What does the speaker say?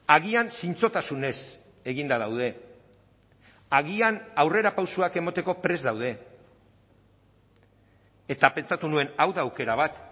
agian zintzotasunez eginda daude agian aurrerapausoak emateko prest daude eta pentsatu nuen hau da aukera bat